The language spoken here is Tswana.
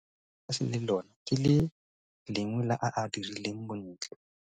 Lekala la motlakase le lona ke le lengwe la a a dirileng bontle.